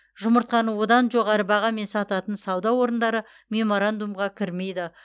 жұмыртқаны одан жоғары бағамен сататын сауда орындары меморандумға кірмейді